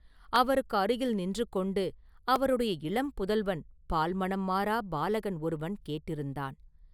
அவருக்கு அருகில் நின்று கொண்டு அவருடைய இளம் புதல்வன் பால்மணம் மாறாப் பாலகன் ஒருவன் கேட்டிருந்தான்.